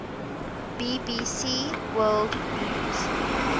bbc world news